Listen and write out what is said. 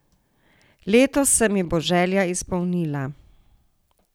Letos se mi bo želja izpolnila.